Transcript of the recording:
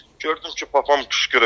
Gördüm ki, papam qışqırır.